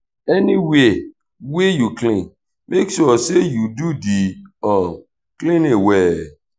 anywia wey yu clean mek sure say yu do di um cleaning well